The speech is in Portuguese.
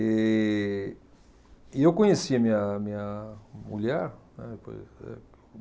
E, e eu conheci a minha minha mulher, né.